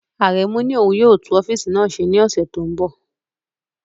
Aremu ní òun yóò tún ọ́fíìsì náà ṣe ní ọ̀sẹ̀ tó ń bọ̀.